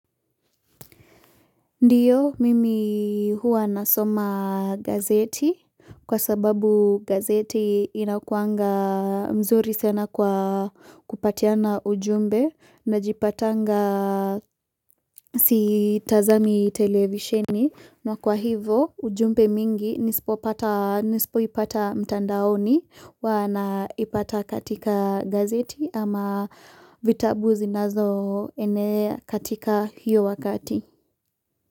Ndiyo mimi huwa nasoma gazeti kwa sababu gazeti inakuanga mzuri sena kwa kupatiana ujumbe najipatanga sitazami televisheni na kwa hivo ujumbe mingi nisipoipata mtandaoni huwa naipata katika gazeti ama vitabu zinazoenea katika hiyo wakati.